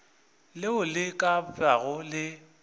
leo le ka bago le